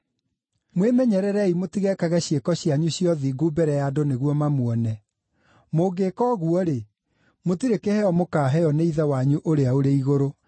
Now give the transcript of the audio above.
“Mwĩmenyererei mũtigekage ciĩko cianyu cia ũthingu mbere ya andũ nĩguo mamuone. Mũngĩĩka ũguo-rĩ, mũtirĩ kĩheo mũkaaheo nĩ Ithe wanyu ũrĩa ũrĩ igũrũ.